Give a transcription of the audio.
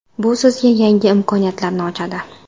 Bu sizga yangi imkoniyatlarni ochadi.